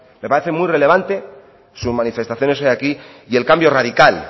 me parece muy relevante sus manifestaciones hoy aquí y el cambio radical